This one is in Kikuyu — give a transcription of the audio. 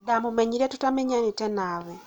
ndamũmenyire tũtamenyanĩte nawe